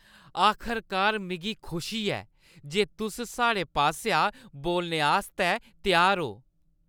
आखरकार! मिगी खुशी ऐ जे तुस साढ़े पासेआ बोलने आस्तै त्यार ओ ।